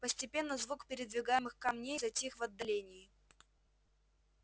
постепенно звук передвигаемых камней затих в отдалении